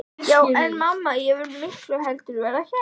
Já en mamma, ég vil miklu heldur vera hérna.